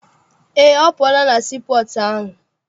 Eé, ọ pụọla na sii pọọtụ ahụ.